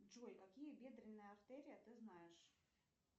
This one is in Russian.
джой какие бедренные артерии ты знаешь